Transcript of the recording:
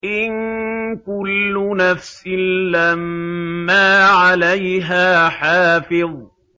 إِن كُلُّ نَفْسٍ لَّمَّا عَلَيْهَا حَافِظٌ